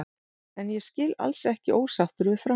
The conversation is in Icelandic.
En ég skil alls ekki ósáttur við Fram.